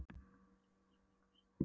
Guð ég reyki eins og skorsteinn.